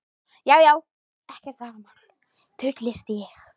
Já já, ekkert vafamál, fullyrti ég.